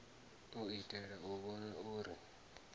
u itela u vhona uri